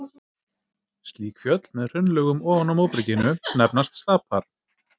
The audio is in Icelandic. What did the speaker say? Slík fjöll, með hraunlögum ofan á móberginu, nefnast stapar.